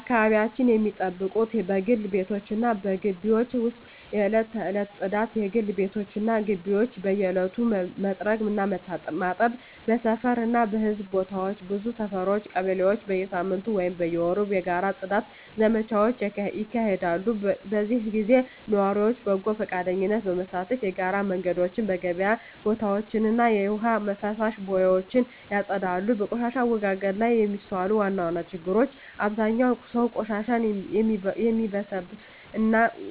አካባቢያቸውን ሚጠብቁት በግል ቤቶች እና በግቢዎች ውስጥ የዕለት ተዕለት ጽዳት: የግል ቤቶች እና ግቢዎች በየዕለቱ መጥረግ እና ማጠብ። በሰፈር እና በሕዝብ ቦታዎች ብዙ ሰፈሮች (ቀበሌዎች) በየሳምንቱ ወይም በየወሩ የጋራ የጽዳት ዘመቻዎች ያካሂዳሉ። በዚህ ጊዜ ነዋሪዎች በጎ ፈቃደኝነት በመሳተፍ የጋራ መንገዶችን፣ የገበያ ቦታዎችን እና የውሃ ፍሳሽ ቦዮችን ያጸዳሉ። በቆሻሻ አወጋገድ ላይ የሚስተዋሉ ዋና ዋና ችግሮች አብዛኛው ሰው ቆሻሻን ወደሚበሰብስ